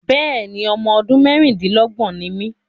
Bẹ́ẹ̀ni, ọmọ ọdún mẹ́ẹ́rin-din-lọ́gbọ́n ni mí